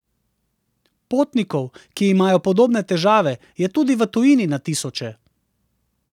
Potnikov, ki imajo podobne težave, je tudi v tujini na tisoče.